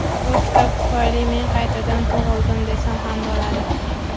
bu kitob tufayli men qaytadan tug‘ildim desam ham bo‘ladi.